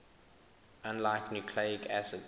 unlike nucleic acids